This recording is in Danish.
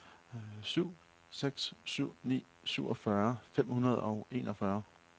syv seks syv ni syvogfyrre fem hundrede og enogfyrre